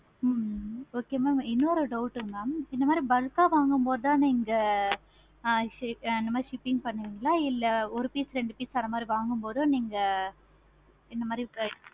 ஹம் okay okay mam இன்னொரு doubt mam bulk ஆஹ் வாங்கு போது தானே நேநேக அந்த மாதிரி shipping பண்ணுவிங்களா இல்ல ஒரு piece ரெண்டு piece போது நீங்க இந்த மாதிரி